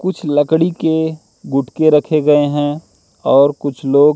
कुछ लकड़ी के गुटके रखे गए है और कुछ लोग--